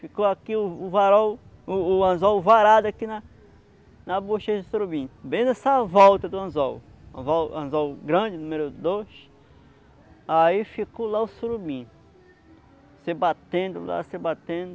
ficou aqui o varol o o anzol varado aqui na na bochecha do surubim bem nessa volta do anzol anzol grande, número dois aí ficou lá o surubim se batendo lá, se batendo